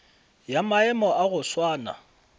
ya maemo a go swana